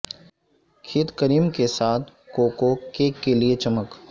کھیت کریم کے ساتھ کوکو کیک کے لئے چمک